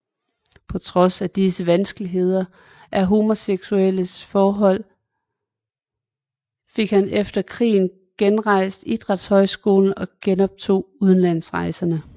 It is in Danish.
På trods af disse vanskeligheder og homoseksuelle forhold fik han efter krigen genrejst idrætshøjskolen og genoptog udlandsrejserne